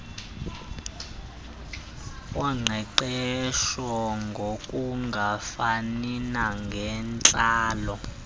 woqeqesho ngokungafani nangentlalo